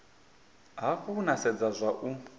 hafhu na sedza zwa u